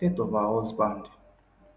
death of her husband